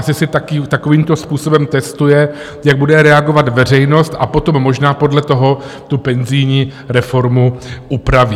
Asi si takovýmto způsobem testuje, jak bude reagovat veřejnost, a potom možná podle toho tu penzijní reformu upraví.